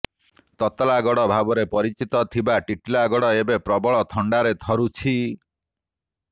ତତଲାଗଡ଼ ଭାବରେ ପରିଚିତ ଥିବା ଟିଟିଲାଗଡ଼ ଏବେ ପ୍ରବଳ ଥଣ୍ଡାରେ ଥରୁଛି